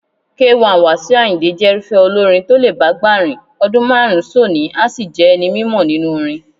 K1 Wasiu Àyìndé jẹ́rúfẹ́ olórin tó lè bágbà rìn, ọdún márùn-ún sónìí a sì jẹ́ ẹni mímọ nínú orin.